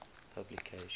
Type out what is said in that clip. publication